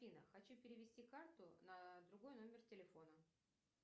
афина хочу перевести карту на другой номер телефона